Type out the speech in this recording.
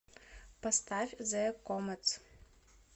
поставь зе кометс